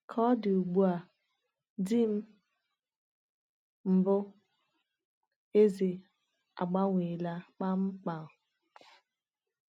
Ka ọ dị ugbu a, di m mbụ, Eze, agbanweela kpamkpam.